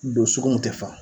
Don sugu min te fa